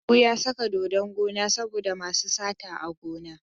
Habu ya saka dodon gona saboda masu sata a gona.